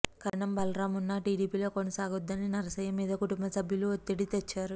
కరణం బలరాం ఉన్న టీడీపీలో కొనసాగొద్దని నరసయ్య మీద కుటుంబ సభ్యులు ఒత్తిడి తెచ్చారు